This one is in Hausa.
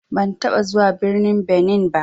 Ban taɓa zuwa birnin Benin ba.